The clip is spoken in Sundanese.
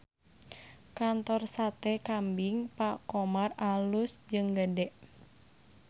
Kantor Sate Kambing Pak Khomar alus jeung gede